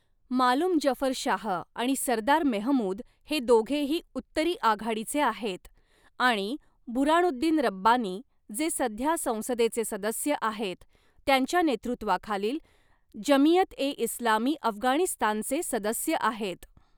मालूम जफर शाह आणि सरदार मेहमूद हे दोघेही "उत्तरी आघाडी"चे आहेत आणि बुऱ्हाणुद्दीन रब्बानी, जे सध्या संसदेचे सदस्य आहेत, त्यांच्या नेतृत्वाखालील जमियत ए इस्लामी अफगाणिस्तानचे सदस्य आहेत.